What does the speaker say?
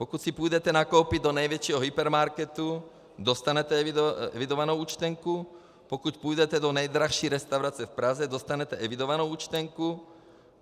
Pokud si půjdete nakoupit do největšího hypermarketu, dostanete evidovanou účtenku, pokud půjdete do nejdražší restaurace v Praze, dostanete evidovanou účtenku.